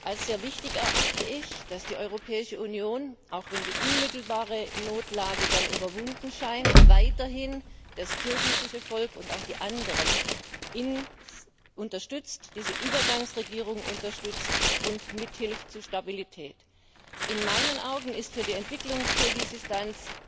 Als sehr wichtig erachte ich, dass die Europäische Union, auch wenn die unmittelbare Notlage dann überwunden scheint, weiterhin das kirgisische Volk und auch die anderen unterstützt, diese Übergangsregierung unterstützt und mithilft, Stabilität zu erreichen. In meinen Augen ist für die Entwicklung Kirgisistans